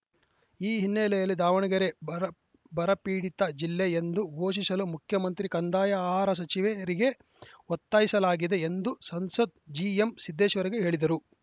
ಈ ಹಿನ್ನೆಲೆಯಲ್ಲಿ ದಾವಣಗೆರೆ ಬರಪೀಡಿತ ಜಿಲ್ಲೆ ಎಂದು ಘೋಷಿಸಲು ಮುಖ್ಯಮಂತ್ರಿ ಕಂದಾಯ ಆಹಾರ ಸಚಿವೆ ಯರಿಗೆ ಒತ್ತಾಯಿಸಲಾಗಿದೆ ಎಂದು ಸಂಸದ ಜಿಎಂಸಿದ್ದೇಶ್ವರಿಗೆ ಹೇಳಿದರು